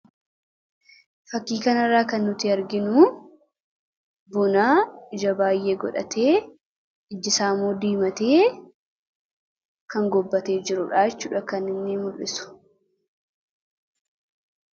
Fakkii kana irraa kan nuti arginu buna ija baay'ee godhatee ijjisaa immoo diimatee kan gobbate jirudha kan inni mul'isuu.